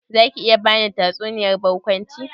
Zaki iya bani tatsuniyar barkwanci?